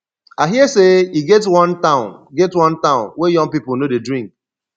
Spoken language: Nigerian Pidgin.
i hear say e get wan town get wan town wey young people no dey drink